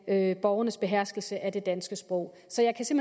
af borgernes beherskelse af det danske sprog så jeg kan